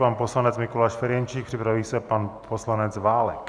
Pan poslanec Mikuláš Ferjenčík, připraví se pan poslanec Válek.